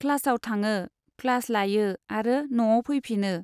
क्लासाव थाङो, क्लास लायो आरो नआव फैफिनो।